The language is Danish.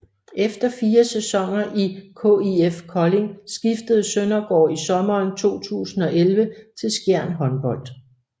Efter fire sæsoner i KIF Kolding skiftede Søndergaard i sommeren 2011 til Skjern Håndbold